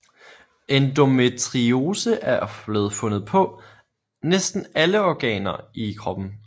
Endometriose er blevet fundet på næsten alle organer i kroppen